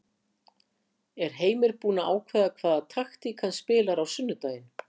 Er Heimir búinn að ákveða hvaða taktík hann spilar á sunnudaginn?